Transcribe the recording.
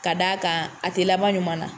Ka d'a kan a tɛ laban ɲuman na